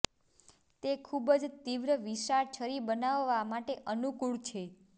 તે ખૂબ જ તીવ્ર વિશાળ છરી બનાવવા માટે અનુકૂળ છે